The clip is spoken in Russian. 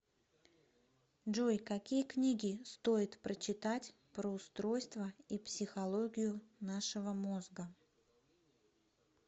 джой какие книги стоит прочитать про устройство и психологию нашего мозга